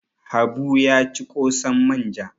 Habu ya ci ƙosan manja.